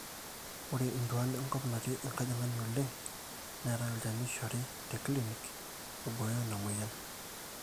ore intuaan enkop natii enkajang'ani oleng neetai olchani oishori te clinic oibooyo ina mweyian